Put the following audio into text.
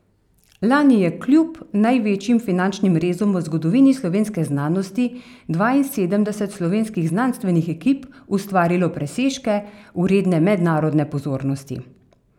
Lani je kljub največjim finančnim rezom v zgodovini slovenske znanosti dvainsedemdeset slovenskih znanstvenih ekip ustvarilo presežke, vredne mednarodne pozornosti.